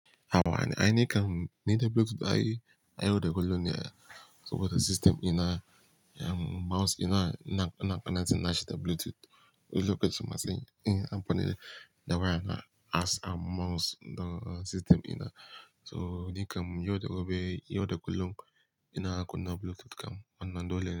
Hawa ne, ai ni kam ni da Bluetooth ai yauda kullum ne. So what a system ina, em mouse dina na, na connecting nashi ta Bluetooth. Wani lokacin ma sai nayi amfani da waya na as a mouse don, don system ina. So ni kam yau da gobe, yau da kullum ina kunna Bluetooth kam wannan dole ne.